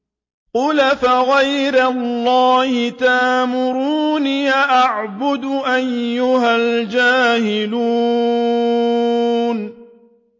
قُلْ أَفَغَيْرَ اللَّهِ تَأْمُرُونِّي أَعْبُدُ أَيُّهَا الْجَاهِلُونَ